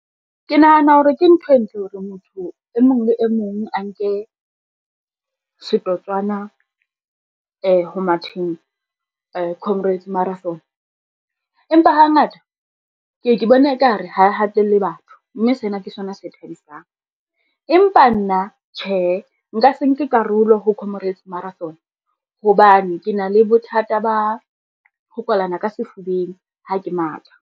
Ke nahana hore ke ntho e ntle hore motho e mong le e mong a nke setotswana ho matheng comrades marathon. Empa hangata ke ye, ke bona ekare ha e hatelle batho mme sena ke sona se thabisang, empa nna tjhe, nka se nke karolo ho comrades marathon hobane ke na le bothata ba ho kwalana ka sefubeng, ha ke matha.